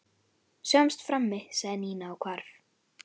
Sjáumst frammi sagði Nína og hvarf.